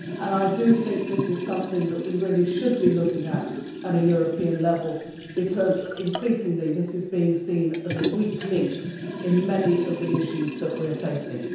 I think this is something that we really should be looking at at European level because, increasingly, it is being seen as a weak link in many of the issues that we are facing.